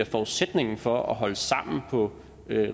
forudsætning for at holde sammen på